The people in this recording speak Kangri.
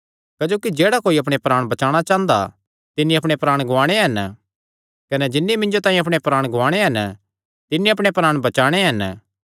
क्जोकि जेह्ड़ा कोई अपणे प्राण बचाणा चांह़दा तिन्नी अपणे प्राण गुआणे हन कने जिन्नी मिन्जो तांई अपणे प्राण गुआणे हन तिन्नी अपणे प्राण बचाणे हन